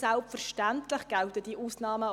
Selbstverständlich gelten diese